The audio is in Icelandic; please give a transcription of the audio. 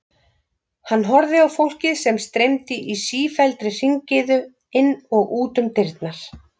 Hann horfði á fólkið sem streymdi í sífelldri hringiðu inn og út um dyrnar.